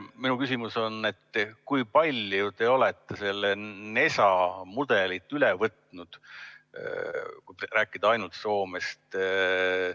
Minu küsimus on: kui palju te olete NESA mudelit üle võtnud, kui rääkida ainult Soomest?